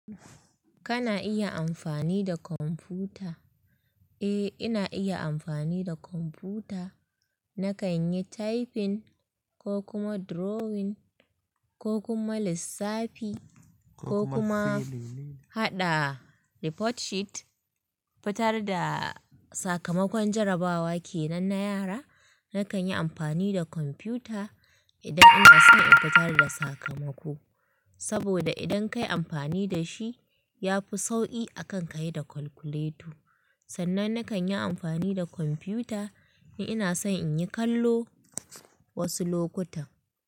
Kana iya amfani da kwamfuta? Eh, ina iya amfani da kwamfuta. Nakan yi typing ko kuma drawing ko kuma lissafi ko kuma haɗa report sheet. Fitarda sakamakon jarabawa ke nan na yara. Nakan yi amfani da kwamfuta idan ina son in fitarda sakamako. Saboda idan kayi amfani da shi ya fi sauƙi akan ka yi da calculator. Sannan nakan yi amfani da kwamfuta in ina son in yi kallo wasu lokutan.